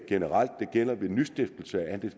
gælder ved nystiftelse af en